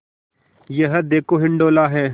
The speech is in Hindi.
यह देखो हिंडोला है